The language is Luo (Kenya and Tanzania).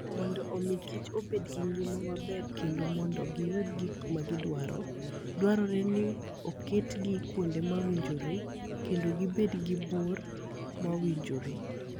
Mondo omi kich obed gi ngima maber kendo mondo giyud gik ma gidwaro, dwarore ni giketgi kuonde mowinjore kendo gibed gi bor mowinjore.